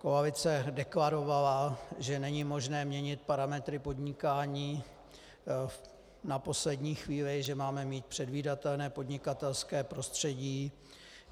Koalice deklarovala, že není možné měnit parametry podnikání na poslední chvíli, že máme mít předvídatelné podnikatelské prostředí.